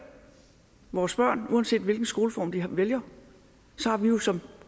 vores børn uanset hvilken skoleform de vælger har vi jo som